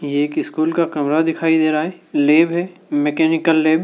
एक स्कूल का कमरा दिखाई दे रहा है लैब है मैकेनिकल लैब ।